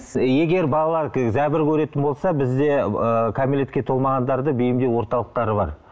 егер балалар зәбір көретін болса бізде ы кәмелетке толмағандарды бейімдеу орталықтары бар